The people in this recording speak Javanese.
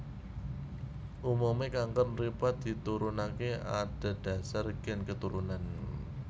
Umume kanker mripat diturunake adhedhasar gen keturunan